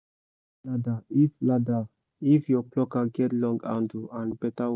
ladder if ladder if your plucker get long handle and better hook